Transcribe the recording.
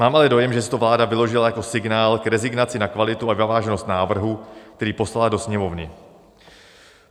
Mám ale dojem, že si to vláda vyložila jako signál k rezignaci na kvalitu a závažnost návrhu, který poslala do Sněmovny.